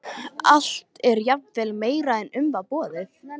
Allt er jafnvel meira en um var beðið.